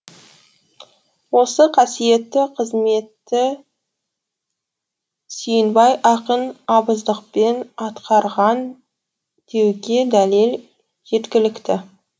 осы қасиетті қызметті сүйінбай ақын абыздықпен атқарған деуге дәлел жеткілікті